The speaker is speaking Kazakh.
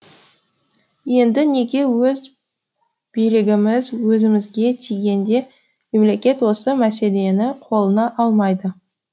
енді неге өз билігіміз өзімізге тигенде мемлекет осы мәселені қолына алмайды